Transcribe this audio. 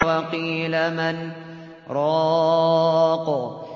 وَقِيلَ مَنْ ۜ رَاقٍ